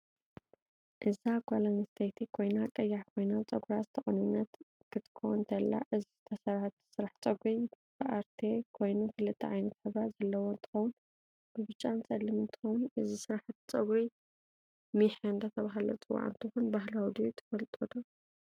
እዛ ጋል ኣንስተይሀት ኮይና ቀያሕ ኮይና ፀጉራ ዝተቀነነት ክትኮንተላ እዚ ዝተሰርሕቶ ስራሕ ፀግሪ ብኣርትየ ኮይኑ ክልተ ዓይነት ሕብሪ ዘለዎ እንትከውን ብብጫን ፀሊም እንትከው እዚ ስራሕቲ ፀግሪ መሕ እዳተበሃል ዝፅዋዕ እንትኮን በህላዊ ድዩ ትፍልጥዶ?